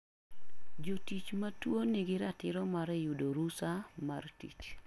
Jotich ma tuo nigi ratiro mar yudo rusa mar tich.